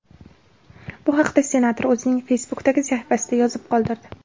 Bu haqda senator o‘zining Facebook’dagi sahifasida yozib qoldirdi .